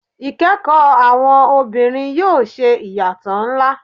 Ikẹkọ Awọn obinrin yoo ṣe iyatọ nla